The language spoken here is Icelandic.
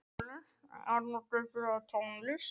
Arnoddur, spilaðu tónlist.